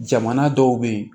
Jamana dɔw be yen